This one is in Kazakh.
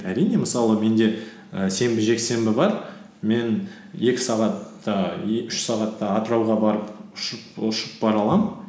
әрине мысалы менде і сенбі жексенбі бар мен екі сағатта үш сағатта атырауға барып ұшып бара аламын